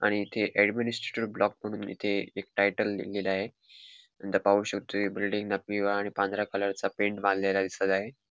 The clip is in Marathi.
आणि इथे एडमिनिस्ट्रेटीव ब्लॉक म्हणून इथे एक टायटल दिला आहे नंतर पाहू शकतो की बिल्डिंग पिवळा आणि पांढरा कलरचा पेंट मारलेला दिसत आहे.